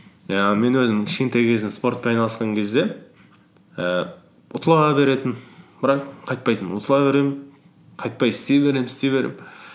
ііі мен өзім кішкентай кезімде спортпен айналысқан кезде ііі ұтыла беретінмін бірақ қайтпайтынмын ұтыла беремін қайтпай істей беремін істей беремін